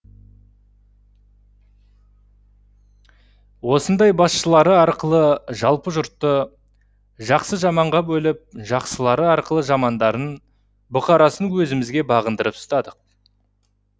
осындай басшылары арқылы жалпы жұртты жақсы жаманға бөліп жақсылары арқылы жамандарын бұқарасын өзімізге бағындырып ұстадық